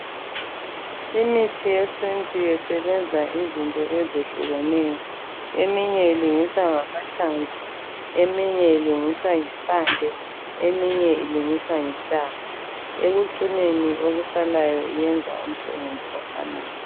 Imithi yesintu isebenza ngezinto eyehlukeneyo. Eminye ilungiswa ngama hlamvu, eminye ilungiswa ngempande, eminye ilungiswa ngentanga. Ekucineni okusalayo yenza umsebenzi ofanayo.